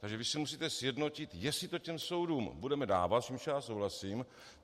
Takže vy si musíte sjednotit, jestli to těm soudům budeme dávat, s čímž já souhlasím.